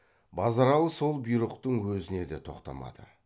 базаралы сол бұйрықтың өзіне де тоқтамады